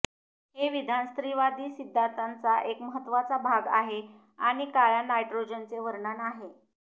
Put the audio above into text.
हे विधान स्त्रीवादी सिद्धांताचा एक महत्त्वाचा भाग आहे आणि काळ्या नायट्रोजनचे वर्णन आहे